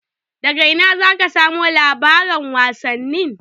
Daga ina zaka samu labaran wasanni?